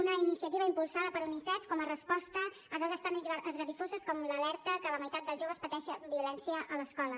una iniciativa impulsada per unicef com a resposta a dades tan esgarrifoses com l’alerta que la meitat del joves pateixen violència a l’escola